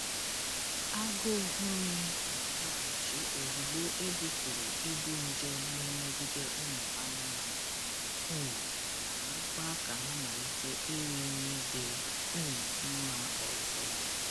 Agụ nri na-alọghachi ozugbo ebupụrụ ibu nje n'emegide ụmụ anụmanụ, um ma mekwa ka ha malite iri nri dị um mma ọzọ.